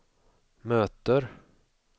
möter